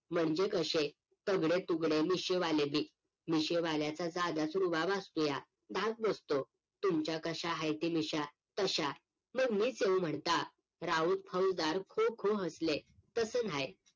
म्हणजे कशे? तगडे तुगडे मिशी वाले बी मिशी वाल्याचा साधाच रुबाब असतुया धाक नसतो तुमच्या कश्या हायती मिश्या तश्या मग मीच येऊ म्हणता राऊत फौजदार खूप खूप हसले तसं नाय